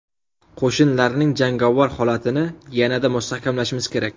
Qo‘shinlarning jangovar holatini yanada mustahkamlashimiz kerak.